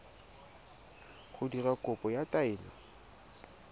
go dira kopo ya taelo